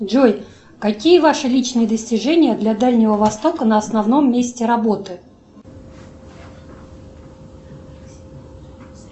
джой какие ваши личные достижения для дальнего востока на основном месте работы